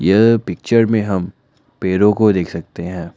यह पिक्चर में हम पेड़ों को देख सकते हैं।